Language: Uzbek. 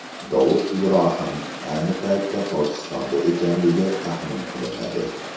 Dovud Ibrohim ayni paytda Pokistonda ekanligi taxmin qilinadi.